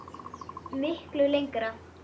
Miklu lengra.